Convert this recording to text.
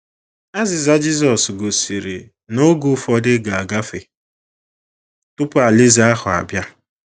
Azịza Jisọs gosiri na oge ụfọdụ ga - agafe tupu Alaeze ahụ abịa.